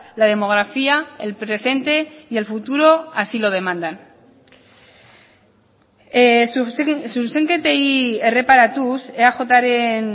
la demografía el presente y el futuro así lo demandan zuzenketei erreparatuz eajren